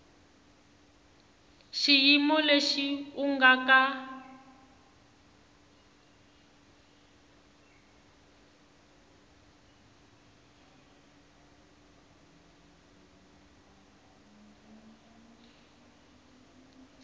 xiyimo lexi u nga ka